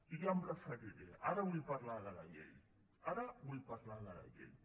i ja m’hi referiré ara vull parlar de la llei ara vull parlar de la llei